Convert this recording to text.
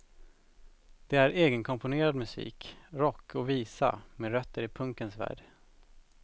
Det är egenkomponerad musik, rock och visa med rötter i punkens värld.